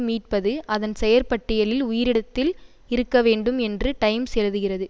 மீட்பது அதன் செயற்பட்டியலில் உயிரிடத்தில் இருக்க வேண்டும் என்று டைம்ஸ் எழுதுகிறது